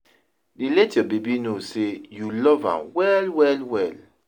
dey let yur baby no say yu luv am wel wel wel